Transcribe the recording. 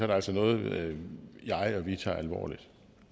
det altså noget jeg og vi tager alvorligt